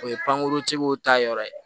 O ye pankuruntigiw ta yɔrɔ ye